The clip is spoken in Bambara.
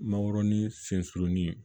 Mangoroni sɛurunin